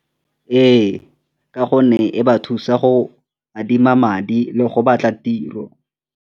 Ee, ka gonne e ba thusa go adima madi le go batla tiro.